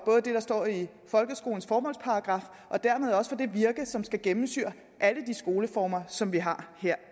for det der står i folkeskolens formålsparagraf og dermed også for det virke som skal gennemsyre alle de skoleformer som vi har her